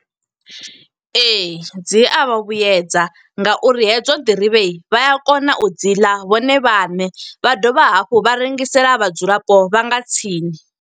Ee, dzi a vha vhuyedza nga uri hedzo nḓirivhe vha a kona u dzi ḽa vhone vhaṋe. Vha dovha hafhu vha rengisela vhadzulapo vha nga tsini.